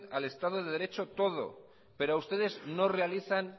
al estado de derecho todo pero ustedes no realizan